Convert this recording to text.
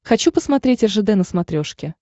хочу посмотреть ржд на смотрешке